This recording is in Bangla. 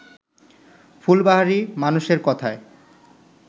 ফুলবাহারি মানুষের কথায়